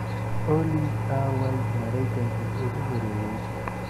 olly aaway Maraykankii ugu horeeyey